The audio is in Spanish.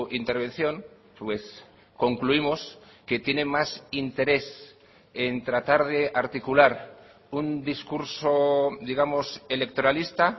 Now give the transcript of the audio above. intervención pues concluimos que tiene más interés en tratar de articular un discurso digamos electoralista